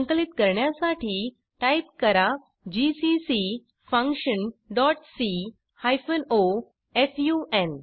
संकलित करण्यासाठी टाईप करा जीसीसी functionसी o फुन